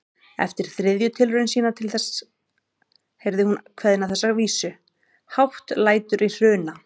Eftir þriðju tilraun sína til þess heyrði hún kveðna þessa vísu: Hátt lætur í Hruna